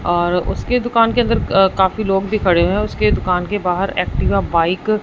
और उसके दुकान के अंदर काफी लोग भी खड़े है उसके दुकान के बाहर एक्टिवा बाइक --